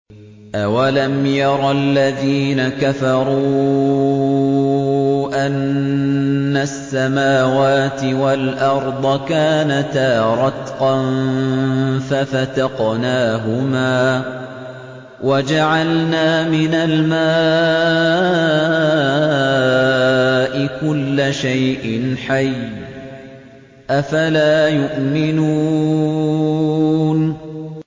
أَوَلَمْ يَرَ الَّذِينَ كَفَرُوا أَنَّ السَّمَاوَاتِ وَالْأَرْضَ كَانَتَا رَتْقًا فَفَتَقْنَاهُمَا ۖ وَجَعَلْنَا مِنَ الْمَاءِ كُلَّ شَيْءٍ حَيٍّ ۖ أَفَلَا يُؤْمِنُونَ